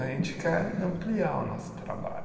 A gente quer ampliar o nosso trabalho.